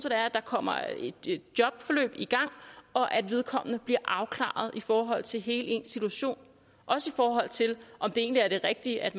at der kommer et jobforløb i gang og at vedkommende bliver afklaret i forhold til hele situationen også i forhold til om det egentlig er det rigtige at